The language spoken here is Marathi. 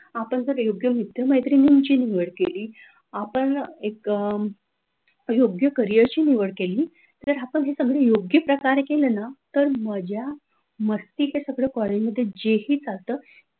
आपण जर योग्य मित्र-मैत्रिणीची निवड केली, आपण एक योग्य करिअरची निवड केली, तर आपण योग्य प्रकारे केलं ना तर माझ्या मजा मस्ती कॉलेजमध्ये जेही चालत,